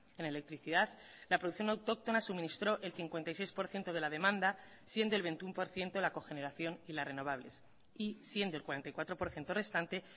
en electricidad la producción autóctona suministró el cincuenta y seis por ciento de la demanda siendo el veintiuno por ciento la cogeneración y las renovables y siendo el cuarenta y cuatro por ciento restante